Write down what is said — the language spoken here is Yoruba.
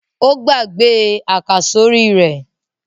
Ó gbàgbé àkàsórí rẹ̀?